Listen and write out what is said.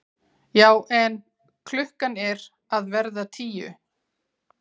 Já en. klukkan er að verða tíu!